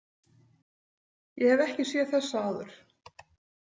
Ég hef ekki séð þessa áður.